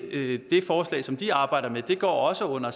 forslag som de arbejder med går også under